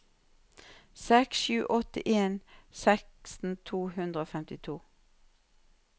seks sju åtte en seksten to hundre og femtito